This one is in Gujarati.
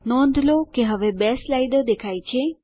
નોંધ લો કે હવે બે સ્લાઇડો દેખાય છે